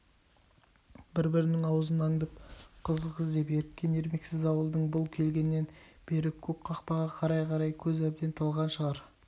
бір-бірінің аузын аңдып қызық іздеп еріккен ермексіз ауылдың бұл келгеннен бері көк қақпаға қарай-қарай көз әбден талған шығар